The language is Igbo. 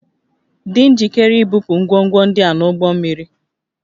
Dị njikere ibupu ngwongwo ndị a n'ụgbọ mmiri